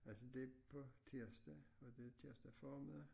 Altså det på tirsdag var det tirsdag formiddag